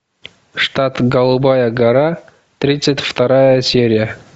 штат голубая гора тридцать вторая серия